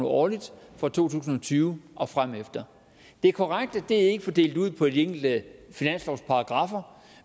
årligt fra to tusind og tyve og fremefter det er korrekt at det ikke er fordelt ud på de enkelte finanslovsparagraffer